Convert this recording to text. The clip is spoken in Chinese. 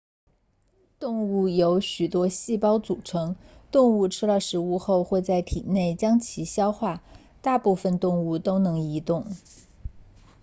动物由许多细胞组成动物吃了食物后会在体内将其消化大部分动物都能移动